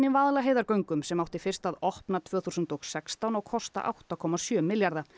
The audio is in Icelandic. Vaðlaheiðargöngum sem átti fyrst að opna tvö þúsund og sextán og kosta átta komma sjö milljarða